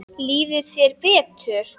Líður þér betur?